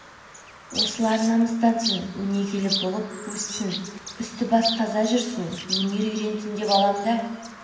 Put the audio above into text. осылар намыстансын өнегелі болып өссін үсті-басы таза жүрсін өнер үйренсін деп алам да